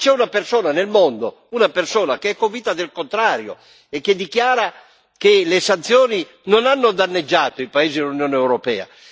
Ma c'è una persona nel mondo, una persona che è convinta del contrario, e che dichiara che le sanzioni non hanno danneggiato i paesi dell'Unione europea.